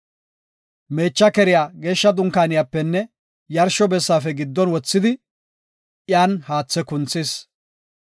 Meecha keriya Geeshsha Dunkaaniyapenne yarsho bessaafe giddon wothidi, iyan haathe kunthis.